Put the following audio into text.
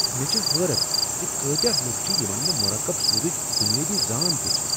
مےٚ چھ حٲرتھ زِ کٲتیاہ لوٗکھ چھ یمن نہٕ مرکب سودچ بنیٲدی زان تہِ چھےٚ۔